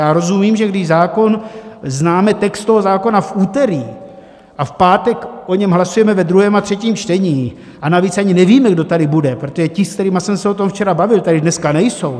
Já rozumím, že když zákon - známe text toho zákona v úterý a v pátek o něm hlasujeme ve druhém a třetím čtení, a navíc ani nevíme, kdo tady bude, protože ti, s kterými jsem se o tom včera bavil, tady dneska nejsou.